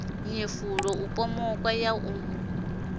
nyefula u pomoka na u